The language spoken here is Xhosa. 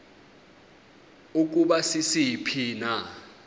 ukuba sisiphi na